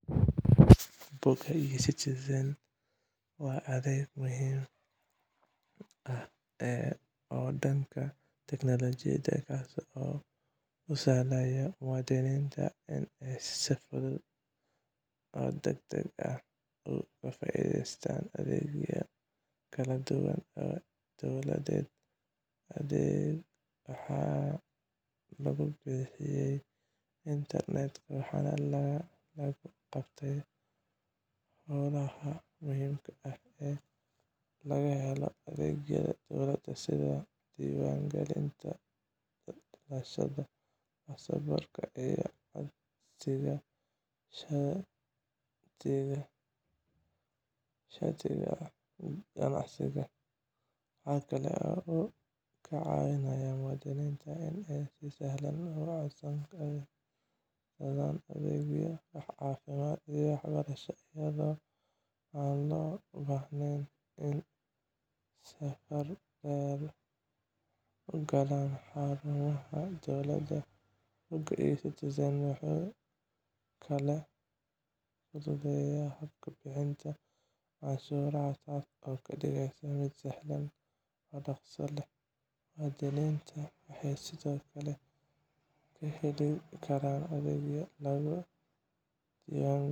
Bogga e-Citizen waa adeeg muhiim ah oo dhanka teknolojiyadda ah, kaas oo u sahlaya muwaadiniinta inay si fudud oo degdeg ah uga faa'iidaystaan adeegyo kala duwan oo dowladeed. Adeeggan waxaa lagu bixiyay internetka, waxaana lagu qabtaa howlaha muhiimka ah ee laga helo adeegyada dowladda sida diiwaangelinta dhalashada, baasaboorka, iyo codsiga shatiga ganacsiga. Waxa kale oo uu ka caawinayaa muwaadiniinta inay si sahlan ugu codsadaan adeegyo caafimaad iyo waxbarasho, iyadoo aan loo baahnayn inay safan dheer ku galaan xarumaha dowladda. Bogga e-Citizen wuxuu kaloo fududeeyaa habka bixinta canshuuraha, taas oo ka dhigaysa mid sahlan oo dhaqso leh. Muwaadiniinta waxay sidoo kale ka heli karaan adeegyo lagu diiwaangelinayo